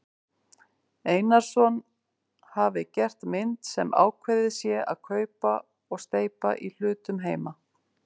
Einarsson hafi gert mynd sem ákveðið sé að kaupa og steypa í hlutum heima.